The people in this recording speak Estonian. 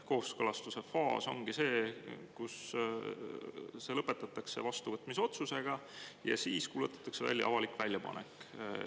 Kooskõlastuse faas ongi see, kus see lõpetatakse vastuvõtmise otsusega ja siis kuulutatakse välja avalik väljapanek.